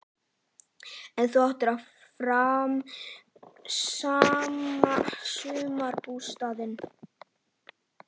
En þú áttir áfram sumarbústaðinn í